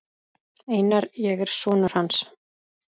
Einar, ég er sonur. hans.